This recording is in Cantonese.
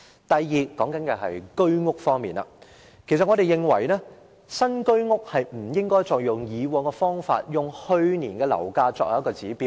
第二，有關新居屋，我們認為不應該依循以往做法，以去年樓價作為指標。